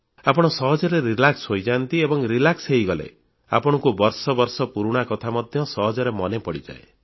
ଆପଣ ସହଜରେ ଆରାମ ହୋଇଯାଆନ୍ତି ଏବଂ ଆରାମ ହୋଇଗଲେ ଆପଣଙ୍କୁ ବର୍ଷ ବର୍ଷ ପୁରୁଣା କଥା ମଧ୍ୟ ସହଜରେ ମନେ ପଡ଼ିଯାଏ